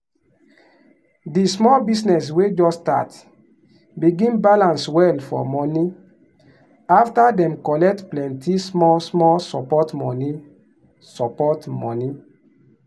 di small business wey just start begin balance well for money after dem collect plenty small-small support money. support money.